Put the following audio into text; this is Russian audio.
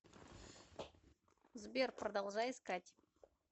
сбер продолжай искать